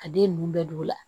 A den ninnu bɛɛ b'u la